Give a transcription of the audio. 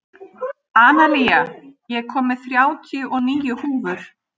Analía, ég kom með þrjátíu og níu húfur!